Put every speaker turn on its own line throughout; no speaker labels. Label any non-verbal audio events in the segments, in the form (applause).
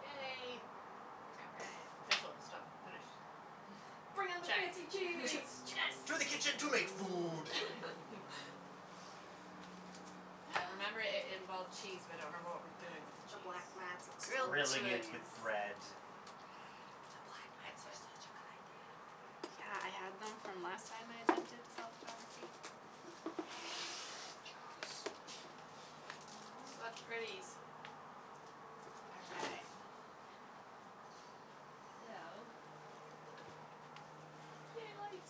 Yay
(noise)
Official stuff, finish
Bring
(noise)
on the
Check.
fancy
Cheese.
cheese.
To the kitchen to make food
(laughs)
(laughs)
I remember it it involved cheese but I don't remember what we're doing with the
The
cheese.
black mats look so
Grilled
Grilling
good.
it with
cheese!
bread
The black
Excellent.
mats are such a good
Yeah, I
idea.
had
Yeah.
them from last time I attempted to self photography
What pretties
All right So
Yay lights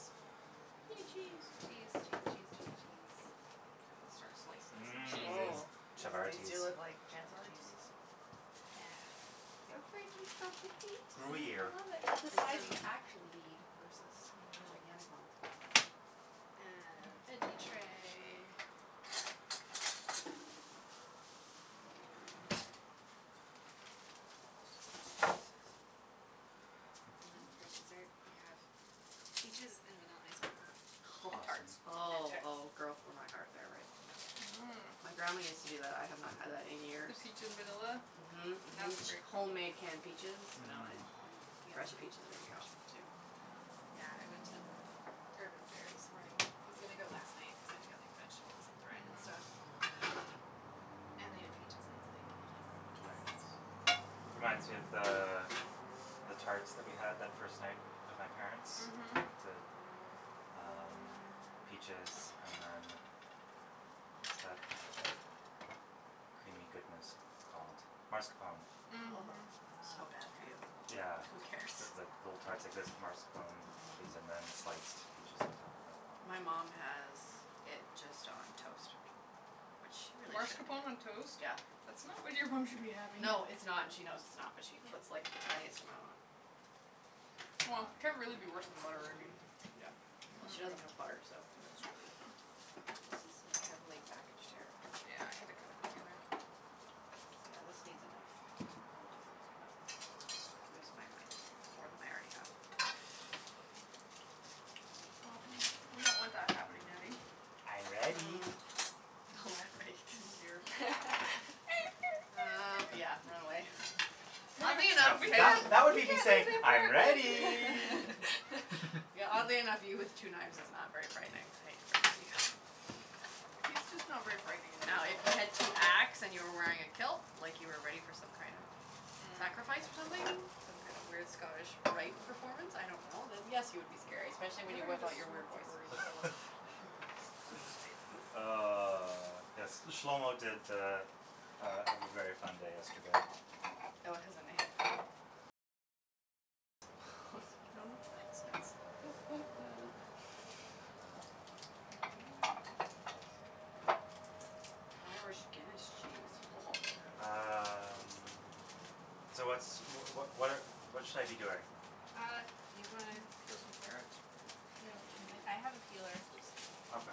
Yay cheese
Cheese cheese cheese cheese cheese
I could start slicing some cheeses.
Mmm
Oh (inaudible)
chavatis
feel it like fancy cheese
Chavatis
Yeah.
(inaudible) I
Gruyere
love it. That's the size you actually
(inaudible)
need Versus
I know
gigantic one.
Um, veggie tray And then for dessert we have,
(noise)
peaches, and vanilla ice cream.
Home tarts.
Awesome.
(noise) Oh oh girl for my heart there right. Yeah, yeah.
Mmm
My grandma used to do that. I have not had that in years.
(inaudible) peach in vanilla?
Mhm
Yeah,
mhm
it's a great (inaudible)
homemade canned peaches, vanilla
Mhm.
ice cream. Fresh peaches are gonna be awesome too
Yeah, I went to Urban Fare this morning, I was gonna go last night cuz I had to get like vegetables and bread and
Mhm
stuff And they had peaches and I was like, yes
Very nice. Reminds me of the, the tarts that we had that first night, with my parents.
Mhm
The, um, peaches and then, what's that, creamy goodness called, mascarpone
Mhm
(noise) so bad for you
Yeah
Oh who cares
That's like little tarts like that with mascarpone cheese and
Mhm
then sliced peaches on top of it
My mom has it just on toast. Which she really shouldn't
Marscapone on toast?
Yeah.
That's not what your mom should be having.
No, it's not and she knows it's not but she puts
(laughs)
like
(noise)
the tiniest amount on
Wha, can't really be worse than butter I mean
Yeah, well she doesn't have butter, so
(inaudible)
(inaudible)
This is like heavily packaged here
Yeah, I had to kinda dig in there
Yeah, this needs a knife. Otherwise I'm just gonna lose my mind, more than I already have.
(inaudible) we don't want that happening, Natty.
I'm ready.
Mm. Oh
Oh,
great
oh, dear
(laughs)
Uh,
(noise)
yeah, run away (laughs) Oddly
No
enough
that that would me just saying, "I'm ready"
(inaudible)
(laughs) Yeah oddly enough, you
(laughs)
(laughs)
with two knives is not very frightening (inaudible)
He's just not very frightening in
No, if
general.
you had two axe and you were wearing a kilt like you were ready for some kind of
Mm
sacrifice or something, some kind of weird Scottish rite performance, I don't know, then yes you would be scary. Especially
We
when
haven't had a smoked (inaudible) in a
(inaudible)
while
(laughs) Ah, yes, this Shlomo did uh uh have a very fun day yesterday.
Fellow has a name? Oh
No (inaudible) accents
jeez
(noise)
(laughs)
Um
(noise) Irish Guinness cheese ho ho
Um, so what's, wh- wh- what what should I be doing?
Uh, you gonna
Um, peel some carrots?
peel some- I have a peeler.
Okay.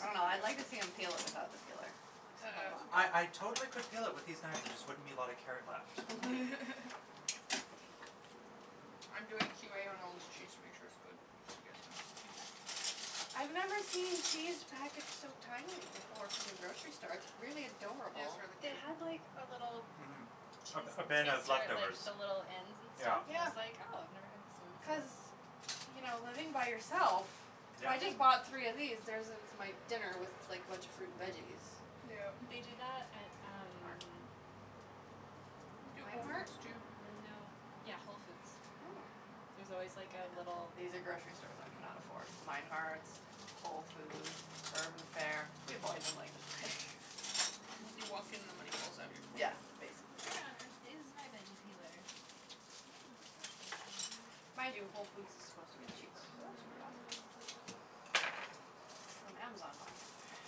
I don't know, I'd like to see him peel it without the peeler. Like how that
Uh
would
I I
go
totally could peel it with these knives there just wouldn't be a lot of carrot left.
(laughs)
(laughs)
I'm doing Q A on all this cheese to make sure it's good just so you guys know.
Okay
I've never seen cheese packaged so tinily before from the grocery
(noise)
store, it's really
It is
adorable.
really
They
cute.
had like a little
Mhm A
cheese
a bin of
taster at like
leftovers
the little ends and
Yeah.
stuff I
Yeah.
was like oh I've never had this ones so
Cuz, you know living by yourself
Yeah.
I just bought three of these, there's it's my dinner, was like a bunch of fruit and veggies.
Yeah.
They do that at um
Where?
Do at Whole
Meinhardts?
Foods too
No. Yeah, Whole Foods.
Oh.
There's always like a little
(noise) These are grocery stores I can not afford. Meinhardts, Whole Foods, Urban Fare. We avoid them like the plague. (laughs)
You walk in and the money falls out of your
Yeah
pocket
basically
Where on earth is my veggie peeler?
That is a good question
Mind you Whole Foods is supposed to get cheaper
It's
So that should
in
be awesome
another drawer.
From Amazon buying it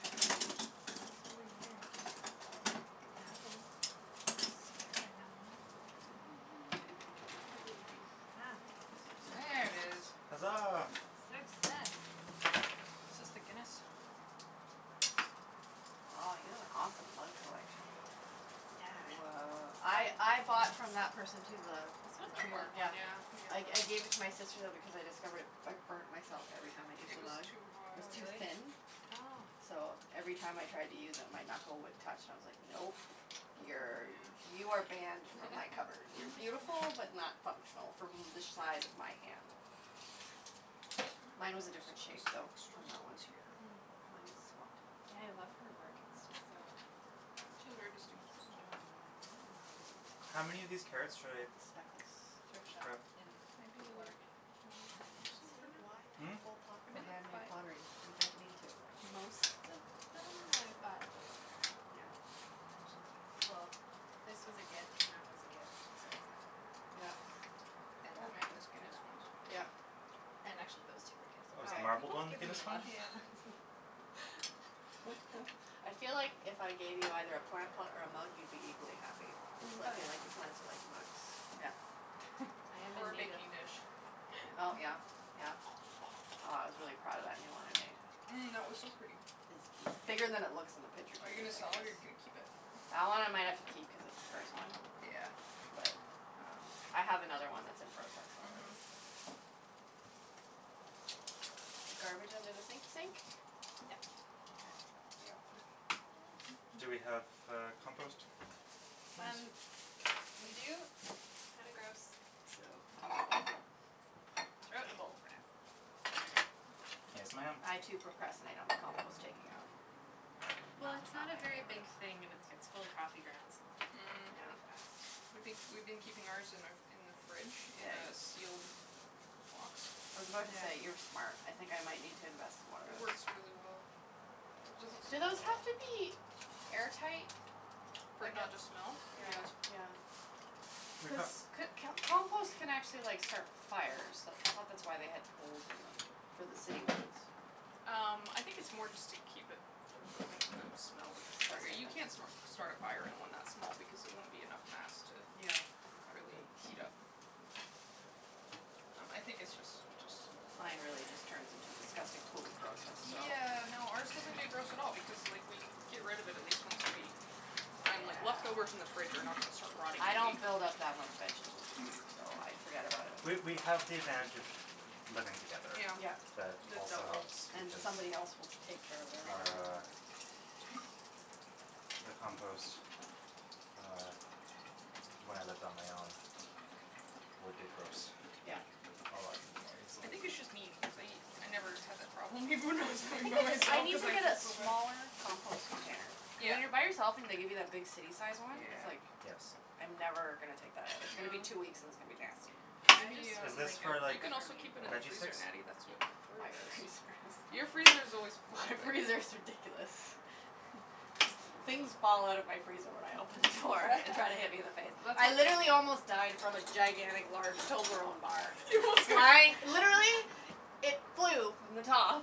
That's really weird, had one, swear I had one
I believe you.
Ah
(noise)
There it is.
Hazaa!
Success!
Is this the Guinness?
Aw you have an awesome mug collection. Yeah. (noise) I I bought from that person too the
This one?
the
(inaudible) the
tree one,
work one
yeah.
yeah
I I
(inaudible)
gave it to my sister though because I discovered it, I burnt myself every time I used
It
the
was
mug,
too
it
hot.
was
Oh
too
really?
thin
Oh
So, every time I tried to use it my knuckle would touch and I was like, nope, you're
Yeah
you are banned from my cupboard, you're beautiful but
(laughs)
not functional from the size of my hand. Mine was a different shape though, from that one.
Mm.
(inaudible)
Yeah I love her work, it's just so
She has a very distinctive style
(inaudible) this one's cool,
How many of these carrots should I
like the speckles
Thrift shop
grab?
and
Maybe like,
bargain
one per
Yeah
person for
see, why
now.
pay
Hmm?
full pop for
Maybe like
handmade
five.
pottery, you don't need to
Most of them I bought new,
Yeah
actually Well, this was a gift and that was a gift and so was that.
Yeah
And
Oh
that
man
one
this
and
Guinness
that
one
one
is (inaudible)
Yeah
And actually those two were gift
Oh
Oh
is the
sorry
(inaudible)
marbled
people have
one the
given me a
Guinness
lot
one?
of
Yeah
mugs
(laughs)
(laughs)
I feel like if I gave you either a plant pot or a mug you'd be equally happy.
Mm
It's like
Oh
you
yeah
like the plants you like the mugs. Yeah
I am
Or
in
a
need of
baking dish
Oh yeah,
(laughs)
yeah, wow I was really proud of that new one I made.
Mm that was so pretty!
It's bigger than it looks in the picture too.
Are you gonna
It's
sell
like
it
the
or you gonna keep it?
That one I might have to keep cuz it's the first one.
Yeah
But, um, I have another one that's in process already,
Mhm
so The garbage under the sink sink?
Yeah
Okay
Do we have, uh, compost?
Um, we do, it's kinda gross, so Throw it in the bowl, for now
Yes ma'am!
I too procrastinate on the compost taking out. No,
Well it's
it's not
not a
my
very
favorite
big thing and its gets full of coffee grounds and like,
Mm
really
Yeah
fast
We been we've been keeping ours in our in the fridge in
Ya-
a
yes
sealed box
I was about to say, "You're
Yeah.
smart", I think I might need to invest in one of
It
those
works really well. It doesn't
Do those have to be
(inaudible)
air tight?
For it not to smell?
Yeah
Yes.
yeah Cuz
(inaudible)
c- can't compost can actually like start fires, that's I thought that's why they have holes in them, for the city ones
Um, I think it's more just to keep it from building up poop smell,
Disgusting
you can't
that's
start a fire in one that small because it won't be enough mass to
Yeah, okay,
really heat up
okay
Um I think it's just it's just
Mine really just turns into a disgusting pool of grossness, so
Yeah, no, ours
(laughs)
doesn't get gross at all because like we get rid of it at least once a week I mean like leftovers in the
Yeah
fridge are not going to start rotting
I
in a
don't
week
build up that much vegetable debris, so I forget about it
We we have the advantage of living together
Yeah
Yeah
That
the
also helps
(inaudible)
And
Because,
somebody else will take care of everything
our
(inaudible)
the compost, uh, when I lived on my own, would get gross
Yeah
A lot more
I
easily
think it's just me because I I never had that problem even when I was living by
I
myself
need
cuz
to
I
get a
get so much
smaller compost container
Yeah
When you're by yourself and they give you that big city sized one, it's
Yeah
like,
Yes
I'm never gonna take that out, it's gonna be two weeks and it's gonna be nasty
I just
Natty
have
Is
um,
this
like a,
for
you
like
can also
Rubbermaid
keep it in the
veggie
freezer
sticks?
Natty, that's what
Yeah
Courtney does
My freezer
Your
is
freezer is always
(inaudible)
full.
My freezer is ridiculous (laughs) Things fall out of my freezer when I open the door and try to hit me in the face.
(laughs)
(laughs)
Let's
I literally almost died from a gigantic large Toblerone bar, flying, literally, it flew from the top,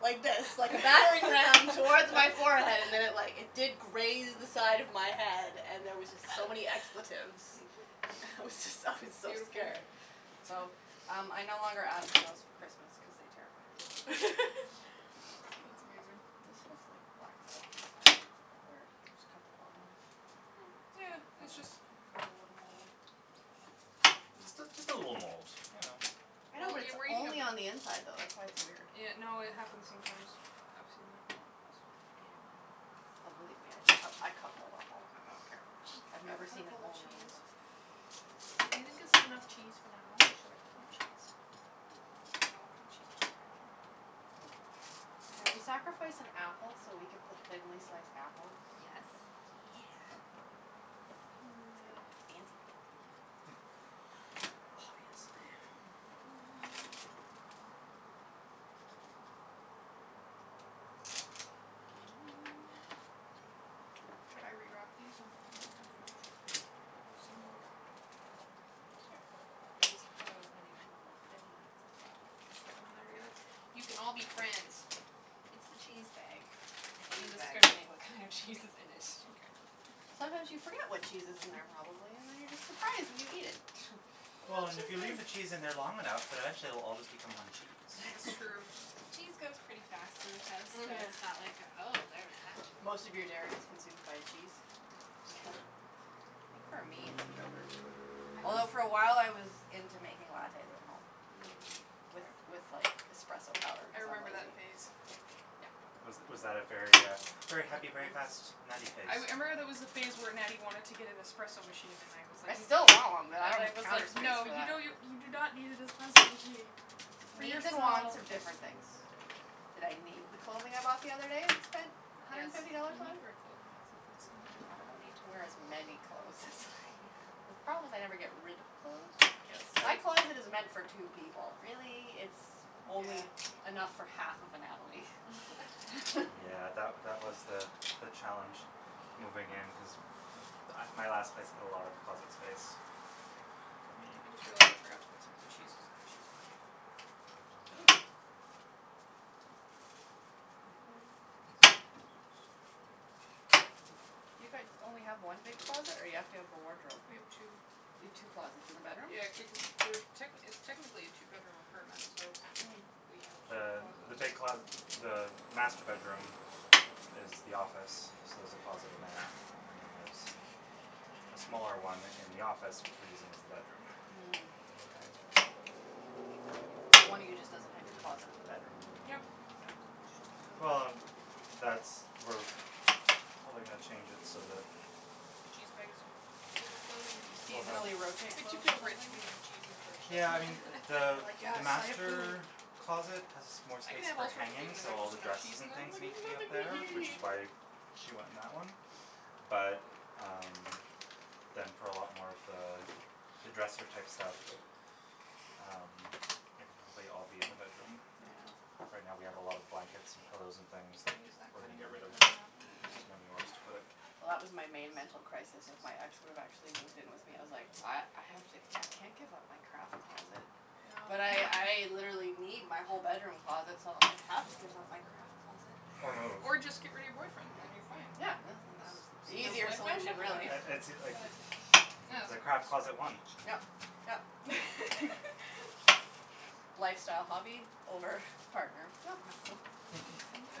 like this, like a battering ram, towards my forehead and then it like, it did graze the side of my head and there was just so many expletives.
(laughs)
I was just, I was so
Beautiful
scared
(inaudible)
So, um I no longer ask for those for Christmas cuz they terrify me.
(laughs) That's amazing
This has like black stuff (inaudible) it's a bit weird, just cut the bottom off
Mm, yeah, it's just, cut a little
(inaudible)
(inaudible)
Just a, just a little mold, you know
I know but it's only
(inaudible)
on the inside though, that's why it's weird
Yeah, no, it happens sometimes, I've seen that
I hate
(inaudible)
it when it happens.
Oh believe me I d- I cut mold off all the time, I don't care. I've never
Cut
seen
up
it
all the
only on the
cheese
inside
I think (inaudible) enough cheese for now, or should I cut more cheese? I don't want no cheese (inaudible)
Can we sacrifice an apple so we can put thinly sliced apples?
Yes
Yeah It's gonna
Mm (noise)
be fancy pancy
(noise)
Oh yes (noise)
(noise) (noise)
Should I re-wrap these and put them back in the fridge? (inaudible) some more wrap
Mm sure. Or just throw as many (inaudible) will fit in that zip-lock, and just
(inaudible) You can all be friends.
It's the cheese bag, it
Cheese
doesn't
bag.
discriminate what kind of cheese is in it. (laughs)
Mkay
Sometimes you forget what cheese is in their probably and then you're just surprised when you eat it (laughs)
Well and if you leave the cheese in there long enough then eventually it will all just become one cheese
That's true.
(laughs)
Cheese goes pretty fast in this house, so
Mhm
it's not like oh there's that che-
Most of your dairy is consumed by cheese
Pretty
Yeah.
much.
I think for me it's yogurt Although for awhile I was into making lattes at home
Mm
With with like espresso powder
I
cuz I'm
remember that
lazy
phase
Yeah
Was was that a very uh very happy, very fast Natty phase?
I wou- I remember there was a phase where Natty wanted to get an espresso machine and I was like,
I
n-
still want one but I ,
and
don't
I
have the
was
counter
like,
space
"No
for
you
that.
don't n- , you do not need an espresso machine"
Cuz
For
needs and wants
yourself
are different things. Did I need the clothing I bought the other day and spent a hundred
Yes,
and fifty dollars
you need
on?
to wear clothing, that's a that's an
Well
important
I don't
(inaudible)
need to wear as many clothes as I have. The problem is I never get rid of clothes.
Yes
My
(inaudible)
closet is meant for two people really, it's only
Yeah
enough for half of a Natalie.
Yeah
(laughs)
that wa- that
(laughs)
was the the challenge moving in cuz m- my last place had a lot of closet space, for me
I just realized I forgot to put some of the cheeses on the cheese plate
Ooh. (noise) You guys only have one big closet or you have to have a wardrobe?
We have two.
You have two closets in the bedroom?
Yeah (inaudible) techni- it's technically a two bedroom apartment, so,
Mm.
we have two
Uh,
closets
the big closet, the master bedroom is the office so there's a closet in there and then there's a smaller one in the office which we're using as the bedroom
Mm k So one of you just doesn't have your closet in the bedroom
Yep (inaudible)
Yeah. Well and w- w- that's we probably gonna change it so that
the cheese (inaudible) Overflowing
You
We'll have
seasonally rotate clothes or
(inaudible) rich
something?
when you have cheese in the fridge so
Yeah I mean the
I'm like,
the
"Yes, so much food."
master
(laughs)
closet has more
I can
space
have
for
all sorts of food
hanging
and then
so all
there's
the
no cheese
dresses
in
and
there, I'm
things
like,
need to be up
"Nothing
there which
to
is
eat."
(laughs)
why she went in that one, but um, then for a lot more of the, the dresser type stuff um, like I'll I'll be in the bedroom.
Mhm.
Yeah
Right now we have a lot of blankets and pillows and things, that,
Can we use that
we're gonna
cutting
get
board to
rid of,
cut up an apple?
just didn't have anywhere else to put it
Well that was my main mental crisis if my ex would've actually moved in with me, I was like "I, I have to, I can't give up my craft closet", but I, I literally need my whole bedroom closet so I have to give up my craft closet
Or move
Or just get rid of your boyfriend then you're fine
Yeah (inaudible) The easier solution really
(inaudible) the craft closet won
(inaudible)
Yep yep
(laughs)
Lifestyle hobby over partner? No problem.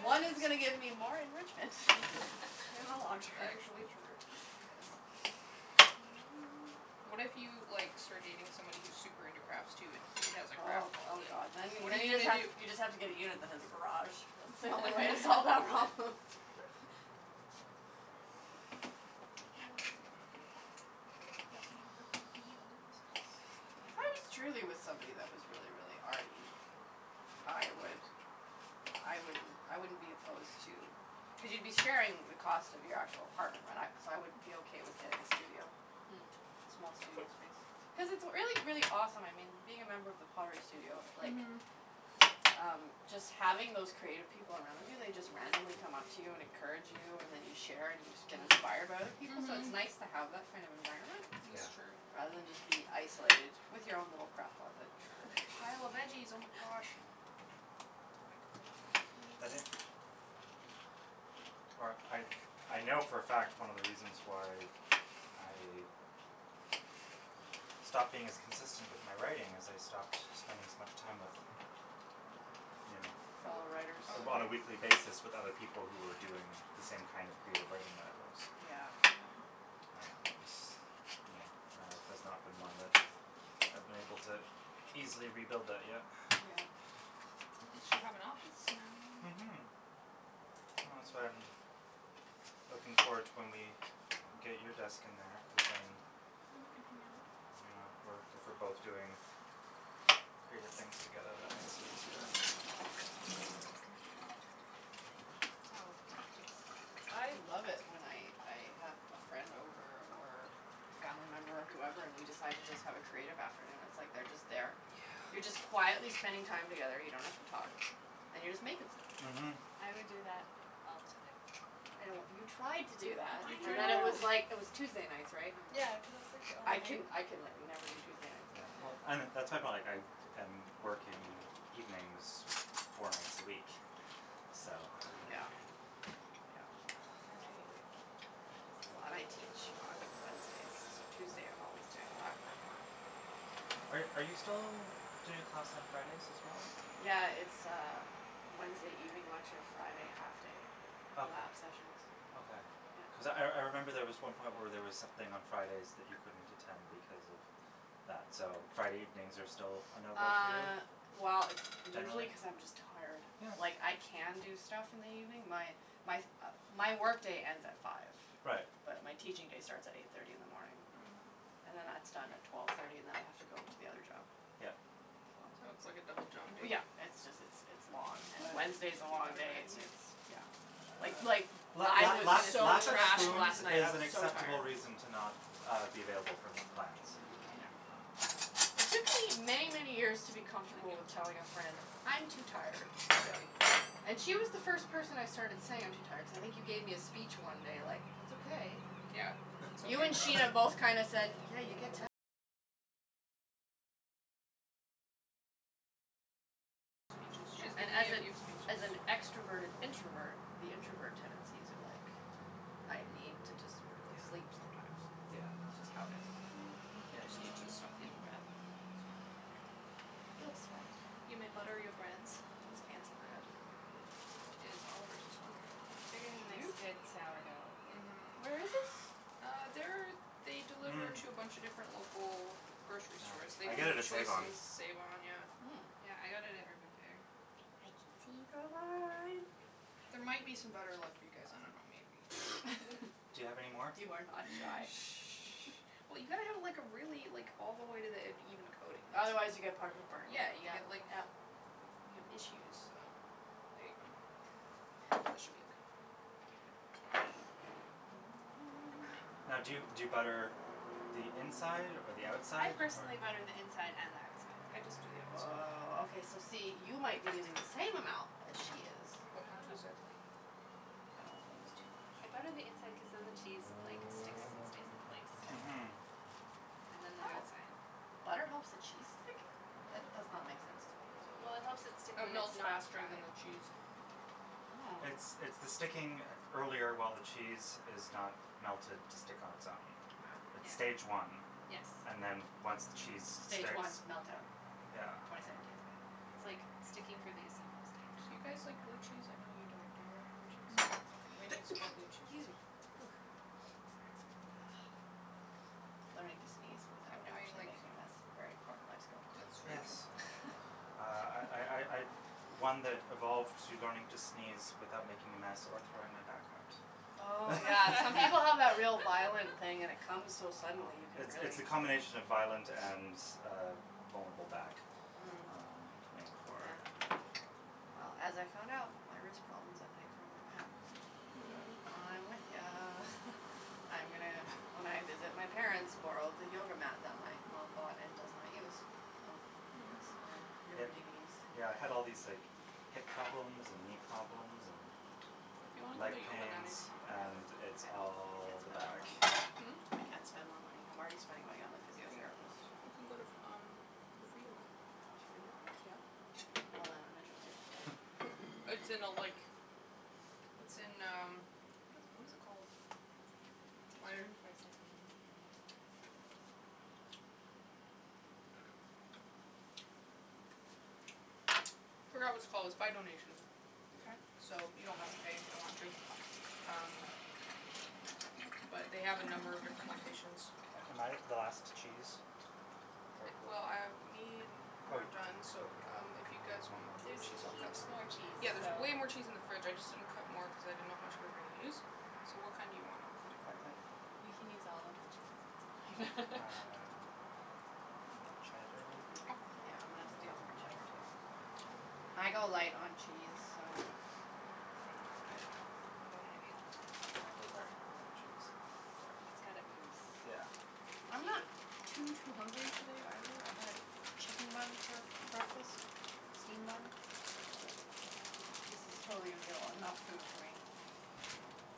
One is gonna get me more enrichment in the long term. (laughs) (noise)
What if you like, start dating somebody who's super into crafts too and he has a
Oh
craft
oh
closet?
god. Then,
What are
then
you
you just
gonna
have,
do?
you just have to get a unit that has a garage. That's the only way to solve that problem.
(laughs)
(laughs)
That's not working
(noise)
(inaudible)
If I was truly with somebody that was really really arty, I would, I wouldn't, I wouldn't be opposed to, cuz you'd be sharing the cost of your actual apartment right, and I, so I would be okay with getting a studio.
Mhm.
Small studio space. Cuz it's really really awesome, I mean, being a member of the (inaudible) studio, like,
Mhm
um, just having those creative people around you, they just randomly come up to you and encourage you, and then you share and you get inspired by other
Mm
people, so it's nice
Mhm
to have that kind of environment,
Is
Yeah
true
rather than just be isolated with your own little craft closet.
Pile of veggies oh my gosh
(laughs)
(inaudible)
(inaudible)
(noise)
(noise)
Or I, I know for a fact one of the reasons why I stopped being as consistent with my writing, is I stopped spending as much time with, you
Fellow writers
know, on a weekly
(inaudible)
basis with other people who were doing the same kind of creative writing that I was
Yeah
Yeah
And, you know, my life has not been one that I've been able to easily rebuild that yet
Yeah
At least you have an office now.
Mhm Well that's why I'm, looking forward to when we, get you a desk in there,
Yeah,
cuz then
then we can hang out
Yeah we're if we're both doing creative things together that makes it easier
Tells about you.
I love it when I I have a friend over or a family member whoever and we decide to just have a creative afternoon, it's like they're just there
Yeah
You're just quietly spending time together, you don't have to talk, and you're just making stuff
Mhm
I would do that all the time
I know what, you tried to do that
I
and then it was
know!
like, it was Tuesday nights, right? And I'm li,
Yeah cuz it was like the
I
only
can
night
I can like never do Tuesday nights
Yeah well
Yeah
and that's my point like I am working evenings four nights a week, so
Yeah Yeah,
(noise)
totally
(inaudible)
Well and I teach on Wednesdays so Tuesday I'm
(noise)
always doing a lot of prep work.
Are are you still
(noise)
doing a class on Fridays as well?
Yeah it's uh Wednesday evening lecture Friday half day
Okay.
lab sessions
Okay.
Yeah
Cuz I I remember there was one point where there was something on Fridays that you couldn't attend because of that so Friday evenings are still a no go for you,
Uh, well it's usually
generally?
cuz I'm just tired.
Yeah
Like I can do stuff in the evening, my my my work day ends at five.
Right
But my teaching day starts at eight thirty in the morning. And then that's done at twelve thirty and then I have to go to the other job
Yeah.
So,
So it's like a double job
w
day
yeah, it's just it's it's long,
Mmm
and
butter,
(noise)
Wednesday's a
should we
long
butter
day
breads?
s
Yeah
it's yeah
Uh
Like like,
la
I
la
was
lack
so
(inaudible)
lack of
trashed
spoons
last night, I
is
sandwiches
an
was so
acceptable
tired.
reason to not uh be available for plans.
Yeah
Um
It took me many many years to be
Thank
comfortable with
you.
telling a friend "I'm too tired,
Yeah
sorry". And she was the first person I started saying "I'm too tired" cuz I think you gave me a speech one day like "that's okay".
Yeah
(laughs)
Yeah, and as a as an extroverted introvert, the introvert tendencies are like "I
Mhm
need to just go to sleep sometimes".
Yeah yeah
It's just how it is.
Mm, you
Yeah
just
it's
need to stop feeling bad about it, that's all.
Guilt's horrible.
You may butter your breads.
This fancy bread
It is Oliver's, it's wonderful
They get a nice
Joop!
good sourdough with
Mhm
Where is this?
Uh, they're, they deliver
Mmm
to a bunch a different local grocery
Yeah,
stores, they
I
do
get it at save-on
Choices, save-on, yeah
Mm
Yeah I got it at Urban Fare
I can see (inaudible)
(inaudible)
There might be
cheese
some butter left for you guys, I don't know maybe
(noise)
(noise)
(laughs)
(laughs)
Do you have any more?
You are not shy. (laughs)
(noise) Well you gotta have like a really, like all the way to the end even coating
Otherwise you get part of it burned,
Yeah
yep
you
yep
get like,
yeah
you have issues, so there you go That should be okay.
Okay. (noise)
(noise)
Now do you do you butter the inside or the
I
outside or
personally butter the inside and the outside.
I just do the outside.
Woah, okay so see, you might be using the same amount as she is.
But on two sides
Probably
I don't use too much.
I butter the inside cuz then the cheese like sticks and stays in place.
Mhm
And then the
Oh!
outside
The butter helps the cheese stick? That
Mhm
does not make sense to me.
Well it helps it stick
It
when it's
melts
not
faster than
fried.
the cheese.
Oh
It's it's the sticking earlier while the cheese is not melted to stick on it's own.
Wow
It's stage
Yeah
one,
Yes
and then once the cheese
Stage
sticks,
one meltdown,
yeah
twenty seventeen
It's like, sticking for the assembly
Do
stage.
you guys like blue cheese? I know you don't. Do you like blue
(noise)
cheese? Okay, we need some
excuse
more blue cheese.
me, (noise) Ah Learning to sneeze
I'm
without
doing
actually
like
making a mess, very important life skill
It's really
Yes
true
(laughs)
Uh I I I
(laughs)
I'm one that evolved to learning to sneeze without making a mess or throwing my back out.
Oh yeah, some people
(laughs)
have that real violent
(laughs)
thing and it comes so
Um,
suddenly, you could
it's it's
really
the combination of violent and uh vulnerable back,
Mm
um make for
Yeah Well as I found out, my wrist problems emanate from my back. So,
Mhm
Yeah
Mm
I'm with ya. (laughs) I am gonna, when
(noise)
I visit my parents borrow the yoga mat that my mom bought and does not use. So
Yes,
Mhm
so
yep,
yoga DVDs
yeah I had all these like hip problems and knee problems
If you wanna
and
go
leg
to yoga Natty
pains
we can go together.
and
(inaudible) I can't
it's all the
spend more
back
money.
Hmm?
I can't spend more money. I'm already spending money on the
You can,
physiotherapist
you can go to f um, the free yoga
There's free yoga?
Yep
Well then I'm interested.
Hm
It's in a like, it's in um, what is what is it called?
There's room for a
(inaudible)
second (inaudible)
(noise) Forgot what it's called, it's by donation
Okay
So you don't have to pay if you don't want to, um, but they have a number of different locations.
Am I the last cheese? Mkay
Well, um, me and-
Oh
we're
you
done, so um, if you guys want more blue
There's
cheese I'll cut
heaps
some
more cheese
Yeah there's
so
way more cheese in the fridge I just didn't cut more cuz I didn't know how much we were gonna use So what kind do you want and I'll cut it
I
for you.
I I
We can use all of the cheese, it's fine. (laughs)
(laughs)
Uh, more cheddar maybe?
Okay
Yeah I'm gonna steal
(inaudible)
more cheddar too so
Yeah
Mkay
I go light on cheese so, I
Uh
think I'm good now.
I go heavy on the cheese.
I go very heavy on the cheese. Sorry.
It's gotta ooze.
Yeah
(noise)
That's the
I'm
key.
not too too hungry today either, I had a chicken bun for breakfast, steamed bun, but this is totally going to be a lo 'nough food for me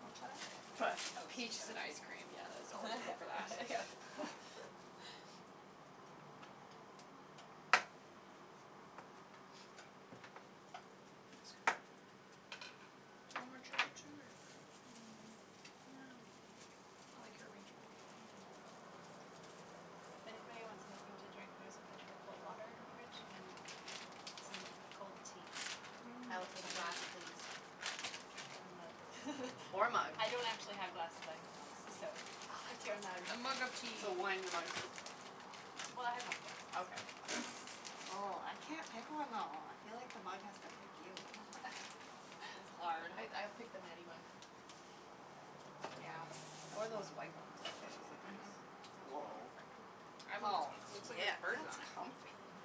Want cheddar?
I had
But,
(inaudible) toast so
peaches and ice cream yeah there's always room for that.
(laughs)
(laughs)
That's good.
Do you want more cheddar too or you okay?
Mm, nah I'm okay.
I like your arrangement.
Mm
Anybody wants anything to drink there's a pitcher of cold water in the fridge and some cold tea.
Mmm
I will take a glass
tea
please.
(inaudible) Or a mug (laughs)
Or mug
I don't actually have glasses I have mugs, so,
Oh, that's
pick your mug.
A
awesome.
mug of tea
So wine in a mug too?
Well I have wine glasses.
Okay (noise)
(noise)
Oh I can't pick one though. I feel like the mug has to pick you. It's
(laughs)
hard.
I I'd pick the Natty mug
Yeah.
Or one
That's the
of
one
those
I'm
white ones. Those look
mhm
nice. I'd want this
Oh
one cuz it looks like it
yeah
has birds on
that's
it
comfy.
Isn't